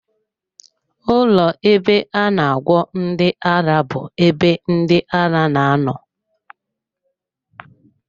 Ụlọ ebe a na agwọ ndị ara bụ ebe ndị ara na-anọ.